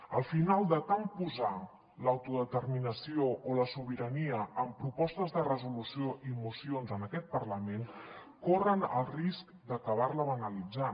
al final de tant posar l’autodeterminació o la sobirania en propostes de resolució i mocions en aquest parlament corren el risc d’acabar la banalitzant